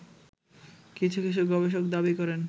কিছু কিছু গবেষক দাবি করেন